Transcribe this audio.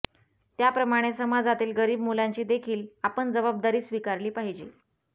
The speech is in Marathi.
त्यप्रमाणे समाजातील गरीब मुलांची देखील आपण जबाबदारी स्विकारली पाहिजे